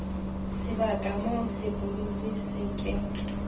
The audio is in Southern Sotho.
sebaka moo sepudutsi se ke